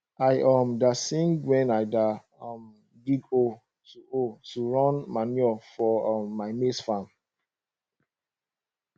i um da sing wen i da um dig hole to hole to run manure for um my maize farm